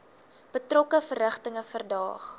betrokke verrigtinge verdaag